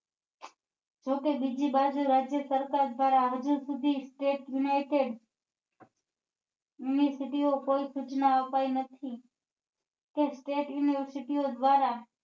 જોકે બીજી બાજુ રાજ્યસરકાર દ્વારા હજુ સુધી state united ની કોઈ સુચના ઓ અપાઈ નથી state university ઓ દ્વારા